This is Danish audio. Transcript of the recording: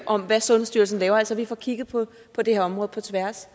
om hvad sundhedsstyrelsen laver altså at vi får kigget på det her område på tværs